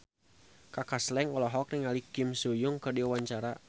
Kaka Slank olohok ningali Kim So Hyun keur diwawancara